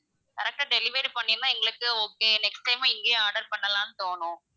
correct ஆ delivery பண்ணிருந்தா எங்களுக்கு okay next time இங்கேயே order பண்ணலாம்ன்னு தோணும்,